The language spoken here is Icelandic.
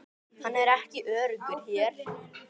Hann er ekki öruggur hér